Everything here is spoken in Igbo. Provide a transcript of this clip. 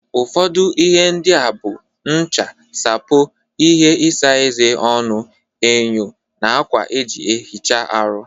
Ụfọdụ ihe ndị a bụ ncha, sapo, ihe isa eze/ọnụ, enyo, na akwa eji ehicha aru.